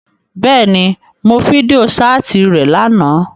Bẹ́ẹ̀ni, Mo fidio-ṣaati rẹ làná.